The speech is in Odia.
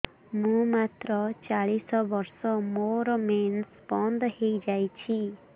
ମୁଁ ମାତ୍ର ଚାଳିଶ ବର୍ଷ ମୋର ମେନ୍ସ ବନ୍ଦ ହେଇଯାଇଛି